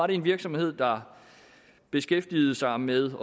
det en virksomhed der beskæftiger sig med at